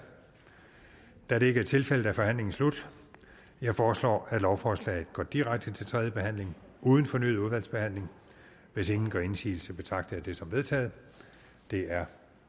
da det ikke er tilfældet er forhandlingen slut jeg foreslår at lovforslaget går direkte til tredje behandling uden fornyet udvalgsbehandling hvis ingen gør indsigelse betragter jeg det som vedtaget det er